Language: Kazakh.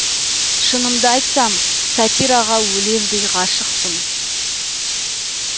шынымды айтсам сатираға өлердей ғашықпын